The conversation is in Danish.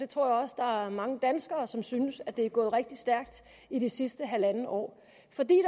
tror også der er mange danskere som synes at det er gået rigtig stærkt i det sidste halvandet år fordi